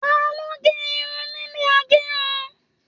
Taló n gé irun nílé agérun?